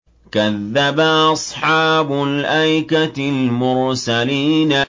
كَذَّبَ أَصْحَابُ الْأَيْكَةِ الْمُرْسَلِينَ